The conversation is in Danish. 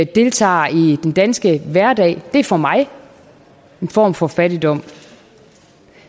deltager i den danske hverdag det er for mig at se en form for fattigdom